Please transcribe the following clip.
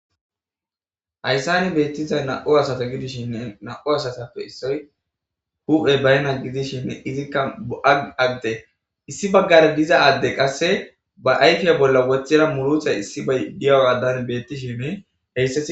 Hayissan betizayissi na"u asata gidishin na'u asatappe issoy huphey bayinna gidishin izikka bo'a ade issi bagara diza adey qase ba ayifa bolla woththida murutay issibay de'iyogadan hesetikka